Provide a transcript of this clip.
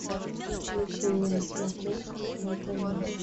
включи мне на смотрешке нтв